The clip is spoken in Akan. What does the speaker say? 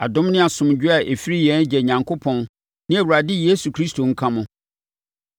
Adom ne asomdwoeɛ a ɛfiri yɛn Agya Onyankopɔn ne Awurade Yesu Kristo nka mo.